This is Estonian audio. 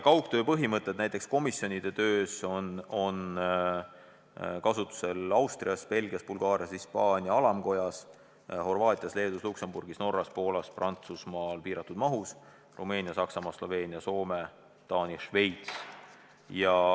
Kaugtöö näiteks komisjonide töös on kasutusel Austrias, Belgias, Bulgaarias, Hispaania alamkojas, Horvaatias, Leedus, Luksemburgis, Norras, Poolas, Prantsusmaal piiratud mahus, Rumeenias, Saksamaal, Sloveenias, Soomes, Taanis ja Šveitsis.